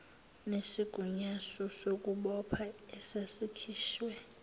nesigunyaso sokubopha esasikhishwe